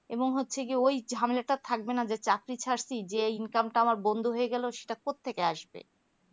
এবং হচ্ছে কি ওই ঝামেলাটা থাকবে না যে চাকরি ছাড়ছি যে income টা বন্দ হয়ে গেলো সেটা কথা থেকে আসবে